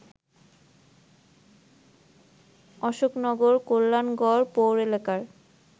অশোকনগর, কল্যাণগড় পৌর এলাকায়